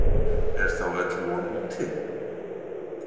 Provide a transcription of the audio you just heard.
Er þá öll von úti?